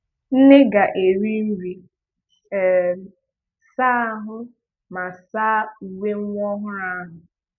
nne ga-eri nri, um saa ahụ ma saa uwe nwa ọhụrụ ahụ